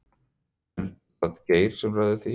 Er það Geir sem ræður því?